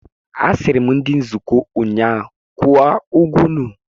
Asịrị m ndị otu nzuko ụnyaahụ, kwụọ ụgwọ unu!